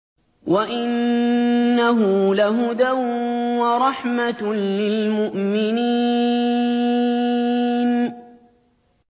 وَإِنَّهُ لَهُدًى وَرَحْمَةٌ لِّلْمُؤْمِنِينَ